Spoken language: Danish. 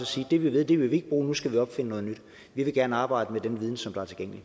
sige at det vi ved vil vi ikke bruge nu skal vi opfinde noget nyt vi vil gerne arbejde med den viden som